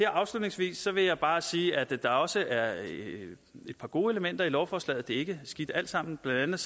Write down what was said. afslutningsvis vil jeg bare sige at der også er et par gode elementer i lovforslaget det er ikke skidt alt sammen blandt